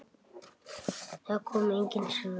Það komu engin svör.